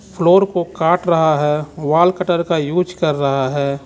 Floor को काट रहा है वॉल कटर का यूज़ कर रहा है.